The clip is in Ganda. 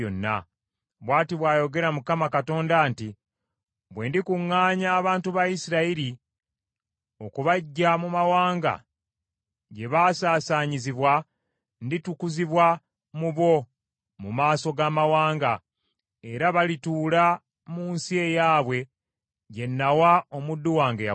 “ ‘Bw’ati bw’ayogera Mukama Katonda nti, Bwe ndikuŋŋaanya abantu ba Isirayiri okubaggya mu mawanga gye baasaasaanyizibwa, nditukuzibwa mu bo mu maaso g’amawanga, era balituula mu nsi eyaabwe gye nawa omuddu wange Yakobo.